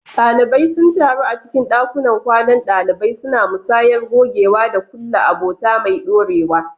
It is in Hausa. Dalibai sun taru a cikin dakunan kwanan dalibai, suna musayar gogewa da kulla abota mai dorewa.